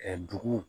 Ɛɛ duguw